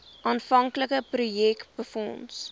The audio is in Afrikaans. aanvanklike projek befonds